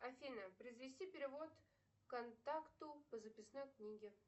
афина произвести перевод контакту по записной книге